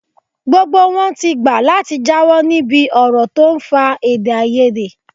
Gbogbo wọn ti gbà láti jáwọ́ níbi ọ̀rọ̀ tó ń fa èdèàìyedè